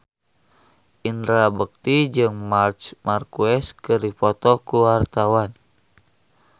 Indra Bekti jeung Marc Marquez keur dipoto ku wartawan